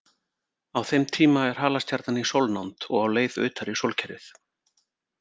Á þeim tíma er halastjarnan í sólnánd og á leið utar í sólkerfið.